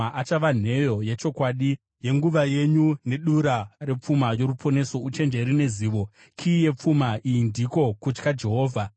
Achava nheyo yechokwadi yenguva yenyu, nedura repfuma yoruponeso, uchenjeri nezivo; kiyi yepfuma iyi ndiko kutya Jehovha.